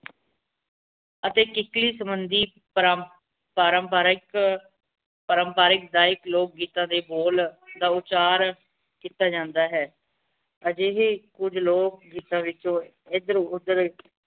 ਅਤੇ ਕਿਕਲੀ ਸੰਬੰਦੀ ਪਰਮ ਪਾਰੰਪਰਿਕ ਪਰੰਪਰਿਕ ਦਾਇਕ ਲੋਗ ਗੀਤਾਂ ਦੇ ਬੋਲ ਦਾਉਚਾਰ ਕੀਤਾ ਜਾਂਦਾ ਹੈਂ ਅਜਿਹੇ ਹੀ ਕੁਜ ਲੋਕ ਗੀਤਾਂ ਵਿੱਚੋ ਏਧਰ ਉਦਰ